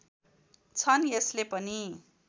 छन् यसले पनि